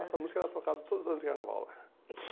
Essa música era tocada todos os anos de carnaval lá.